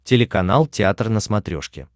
телеканал театр на смотрешке